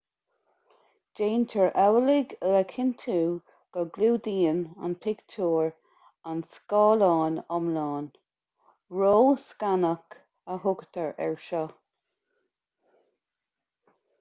déantar amhlaidh le cinntiú go gclúdaíonn an pictiúr an scáileán iomlán ró-scanadh a thugtar air seo